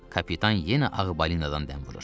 Kapitan yenə ağ balinadan dəm vurur.